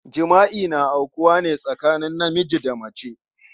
Jima'i na aukuwa ne tsakanin namiji da mace.